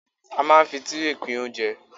A ma ń fi Tírè pín oúnjẹ.